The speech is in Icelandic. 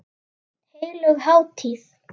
Heilög hátíð.